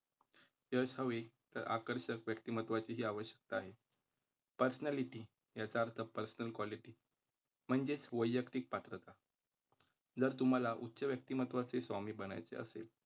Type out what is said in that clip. यश हवे तर आकर्षक व्यक्तिमत्वाची ही आवश्यकता आहे. Personality याचा अर्थ Personal quality म्हणजेच वैयक्तिक पात्रता जर तुम्हाला उच्च व्यक्तिमत्त्वाचे स्वामी बनायचे असेल,